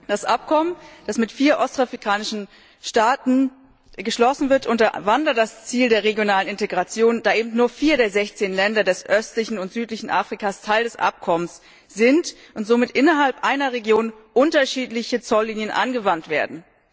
Das Abkommen, das mit vier ostafrikanischen Staaten geschlossen wird, unterwandert das Ziel der regionalen Integration, da eben nur vier der sechzehn Länder des östlichen und südlichen Afrika Teil des Abkommens sind und somit innerhalb einer Region unterschiedliche Zolllinien angewandt werden.